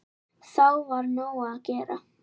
Þá var nóg að gera.